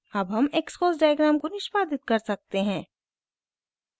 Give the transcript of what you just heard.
अब हम xcos diagram को निष्पादित कर सकते हैं